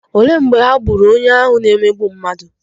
Olee mgbe ha gburu onye ahụ na-emegbu mmadụ?